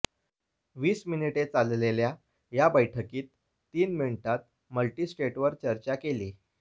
वीस मिनिटे चालेल्या या बैठकीत तीन मिनिटांत मल्टिस्टेटवर चर्चा केली